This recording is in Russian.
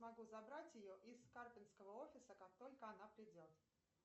могу забрать ее из карпинского офиса как только она придет